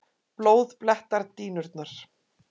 Blóð blettar dýnurnar.